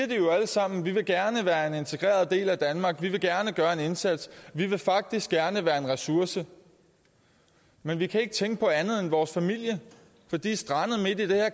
sammen vi vil gerne være en integreret del af danmark vi vil gerne gøre en indsats vi vil faktisk gerne være en ressource men vi kan ikke tænke på andet end vores familie for de er strandet midt i det